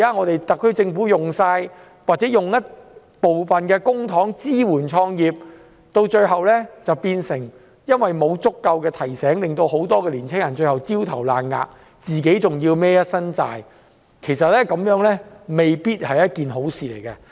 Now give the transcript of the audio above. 特區政府用公帑支援創業，但因為沒有足夠提醒，令很多青年人最後焦頭爛額，還要負一身債務，這樣未必是好事。